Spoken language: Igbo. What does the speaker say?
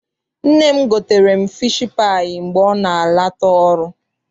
Nne m gotere m fishi paayị mgbe ọ na-ala ta ọrụ.